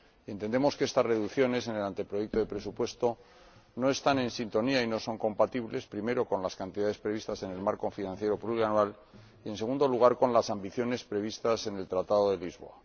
Entendemos que estas reducciones en el anteproyecto de presupuesto no están en sintonía y no son compatibles, primero, con las cantidades previstas en el marco financiero plurianual y, en segundo lugar, con las ambiciones previstas en el Tratado de Lisboa.